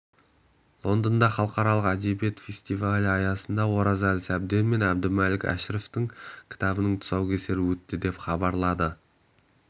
лондонда халықаралық әдебиет фестивалі аясында оразалы сәбден мен әбдімәлік әшіровтің кітабының тұсаукесері өтті деп хабарлады